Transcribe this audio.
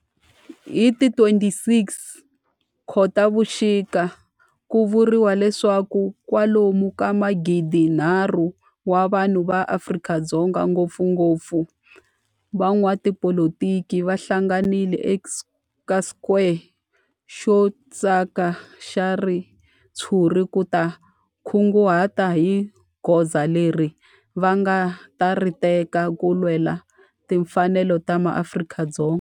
Hi ti 26 Khotavuxika ku vuriwa leswaku kwalomu ka magidi-nharhu wa vanhu va Afrika-Dzonga, ngopfungopfu van'watipolitiki va hlanganile eka square xo thyaka xa ritshuri ku ta kunguhata hi goza leri va nga ta ri teka ku lwela timfanelo ta maAfrika-Dzonga.